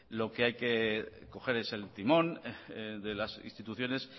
lo que hay que coger es el timón de las instituciones